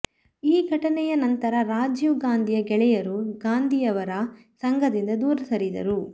ಈ ಘಟನೆಯ ನಂತರ ರಾಜೀವ್ ಗಾಂಧಿಯ ಗೆಳೆಯರು ಗಾಂಧಿಯವರ ಸಂಘದಿಂದ ದೂರ ಸರಿದರು